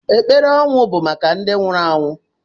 Ekpere ọnwụ bụ maka ndị nwụrụ anwụ.